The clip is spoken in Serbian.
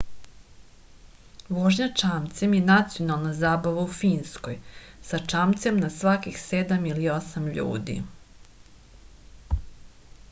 vožnja čamcem je nacionalna zabava u finskoj sa čamcem na svakih sedam ili osam ljudi